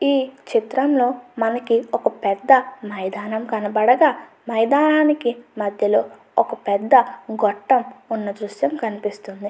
ఈ చిత్రంలో మనకి ఒక పెద్ద మైదానం కనపడగా మైదానానికి మధ్యలో ఒక పెద్ద గొట్టం ఉన్నట్టుగా దృశ్యం కనిపిస్తుంది.